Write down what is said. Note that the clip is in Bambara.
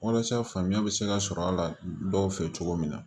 Walasa faamuya bɛ se ka sɔrɔ a la dɔw fɛ cogo min na